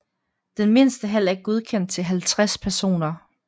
Den mindste hal er godkendt til 50 personer